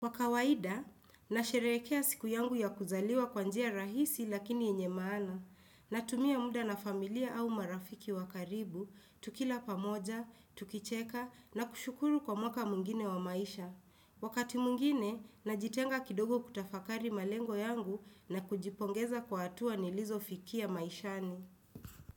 Wakawaida, na sherehekea siku yangu ya kuzaliwa kwanjia rahisi lakini yenye maana. Na tumia muda na familia au marafiki wakaribu, tukila pamoja, tukicheka, na kushukuru kwa mwaka mwingine wa maisha. Wakati mwingine, na jitenga kidogo kutafakari malengo yangu na kujipongeza kwa hatua nilizo fikia maishani.